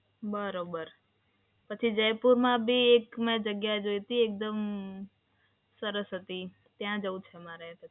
હા બરોબર, પછી જયપુરમાંબી મે એક જગ્યા જોઈ હતી એકદમ સરસ હતી, ત્યાં જવું છે મારે.